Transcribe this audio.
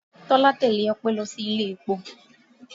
Tọ́lá tẹ́lẹ̀ Ope lọ sí ilé-epo